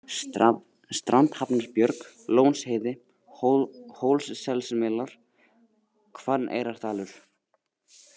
Strandhafnarbjörg, Lónsheiði, Hólsselsmelar, Hvanneyrardalur